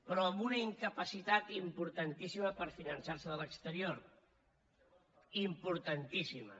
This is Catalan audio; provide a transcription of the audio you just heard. però amb una incapacitat importantíssima per finançar se de l’exterior importantíssima